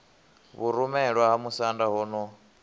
vhurumelwa ha musanda ho no